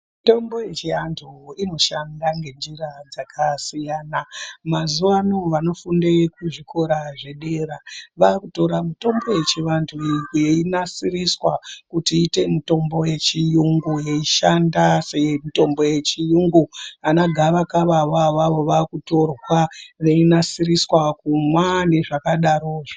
Mitombo yechiantu inoshanda ngenjira dzakasiyana. Mazuwano vanofunde kuzvikora zvedera vakutora mitombo yechivantu iyi yeinasiriswa kuti iite mitombo yechiyungu yeishanda semitombo yechiyungu. Ana gavakava avo avavo vakutorwa veinasiriswa kumwa nezvakadaro zvo.